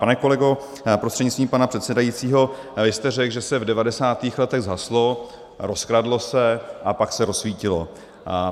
Pane kolego prostřednictvím pana předsedajícího, vy jste řekl, že se v 90. letech zhaslo, rozkradlo se a pak se rozsvítilo.